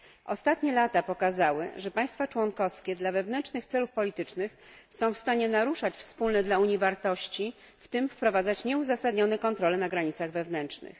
Ostatnie lata pokazały, że państwa członkowskie dla wewnętrznych celów politycznych są w stanie naruszać wspólne dla Unii wartości, w tym wprowadzać nieuzasadnione kontrole na granicach wewnętrznych.